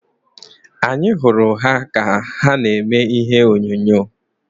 Anyị hụrụ ha ka na-eme ihe onyonyo.